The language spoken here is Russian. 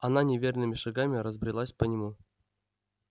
она неверными шагами разбрелась по нему